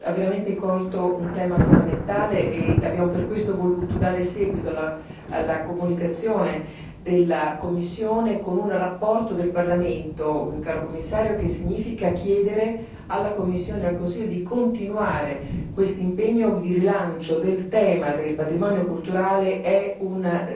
ha veramente colto un tema fondamentale. Abbiamo per questo voluto dare seguito alla comunicazione della Commissione con una relazione del Parlamento, caro Commissario il che significa chiedere alla Commissione e al Consiglio di continuare quest'impegno di rilancio del tema del patrimonio culturale, che è un